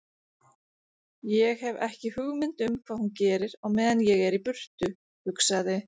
Ég hef ekki hugmynd um hvað hún gerir á meðan ég er í burtu, hugsaði